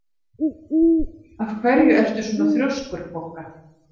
Af hverju ertu svona þrjóskur, Bogga?